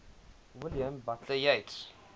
william butler yeats